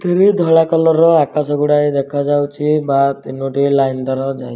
ତେରି ଧଳା କଲର୍ ର ଆକାଶ ଗୁଡ଼ାଏ ଦେଖାଯାଉଚି। ବା ତିନୋଟି ଲାଇନ୍ ତାର ଯାଇଚି।